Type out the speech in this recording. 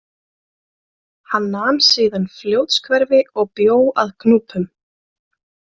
Hann nam síðan Fljótshverfi og bjó að Gnúpum.